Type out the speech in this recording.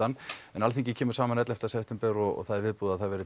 en Alþingi kemur saman ellefta september og viðbúið að